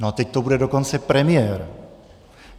No a teď to bude dokonce premiér.